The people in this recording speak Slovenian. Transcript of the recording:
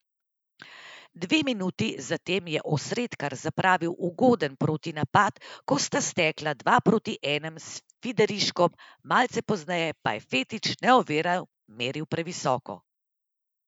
Dve minuti zatem je Osredkar zapravil ugoden protinapad, ko sta stekla dva proti enemu s Fiderškom, malce pozneje pa je Fetić neoviran meril previsoko.